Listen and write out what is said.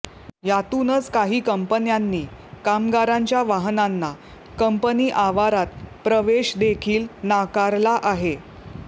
यातूनच काही कंपन्यांनी कामगारांच्या वाहनांना कंपनी आवारात प्रवेश देखील नाकारला आहे